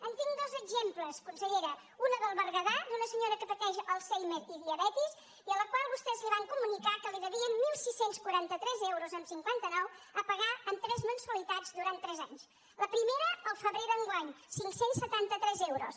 en tinc dos exemples consellera una del bergadà d’una senyora que pateix alzheimer i diabetis i a la qual vostès van comunicar que li devien setze quaranta tres coma cinquanta nou euros a pagar en tres mensualitats durant tres anys la primera al febrer d’enguany cinc cents i setanta tres euros